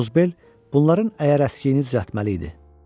Qozbel bunların əyər əskiyini düzəltməli idi.